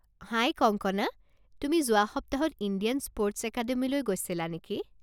হাই কংকনা, তুমি যোৱা সপ্তাহত ইণ্ডিয়ান স্পৰ্টছ একাডেমিলৈ গৈছিলা নেকি?